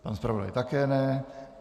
Pan zpravodaj také ne.